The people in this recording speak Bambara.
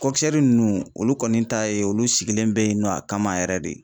ninnu olu kɔni ta ye olu sigilen bɛ yen nɔ a kama yɛrɛ de.